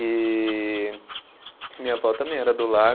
E e minha vó também era do lar.